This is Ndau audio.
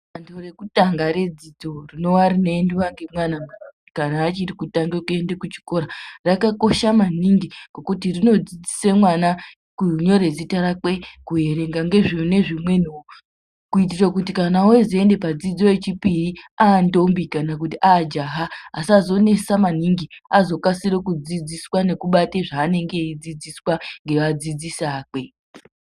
Danto rekutanha redzidzo rinonga reiendwa nemwana kana achiri kutanga kuenda kuchikora rakakosha maningi ngekuti rinodzidzise mwna kunyore zita rake, kuerenga nezvimweniwo kuitira kuti kana ozoenda padzidzo yechipiri antombi kana kuti ajaha asazonesa maningi azokasira kudzidziswa nekubata zvanenge eyidzidziswa ngekadzidzisi akwe.